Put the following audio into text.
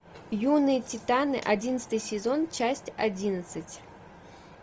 юные титаны одиннадцатый сезон часть одиннадцать